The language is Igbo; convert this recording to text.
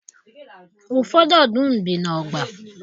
Ụfọdụ ọdụm bi n'ọgba.